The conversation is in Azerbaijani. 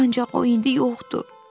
Ancaq o indi yoxdur.